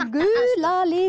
gula lið